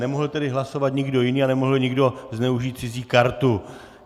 Nemohl tedy hlasovat nikdo jiný a nemohl nikdo zneužít cizí kartu.